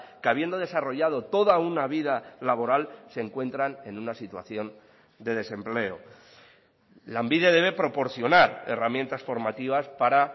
que habiendo desarrollado toda una vida laboral se encuentran en una situación de desempleo lanbide debe proporcionar herramientas formativas para